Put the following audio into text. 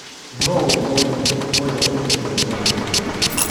nuu mũĩnĩ uria uinite rwĩmbo rũrũ